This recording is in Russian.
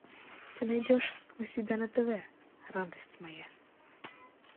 ты найдешь у себя на тв радость моя